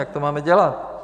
Jak to máme dělat?